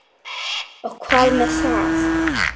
Og hvað með það!